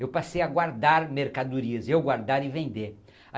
Eu passei a guardar mercadorias, eu guardar e vender.